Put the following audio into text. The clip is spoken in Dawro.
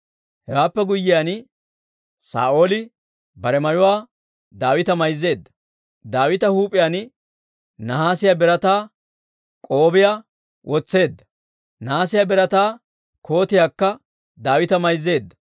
Hewaappe guyyiyaan, Saa'ooli bare mayuwaa Daawita mayzeedda; Daawita huup'iyaan nahaasiyaa birataa k'op'iyaa wotseedda; nahaasiyaa birataa kootiyaakka Daawita mayzeedda.